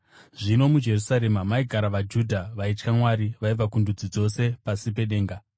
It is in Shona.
Zvino muJerusarema maigara vaJudha vaitya Mwari vaibva kundudzi dzose pasi pedenga.